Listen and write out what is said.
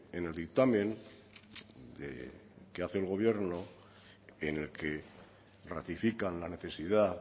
en el dictamen que hace el gobierno en el que ratifican la necesidad